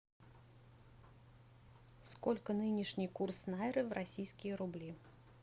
сколько нынешний курс найры в российские рубли